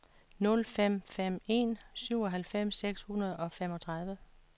nul fem fem en syvoghalvfems seks hundrede og femogtredive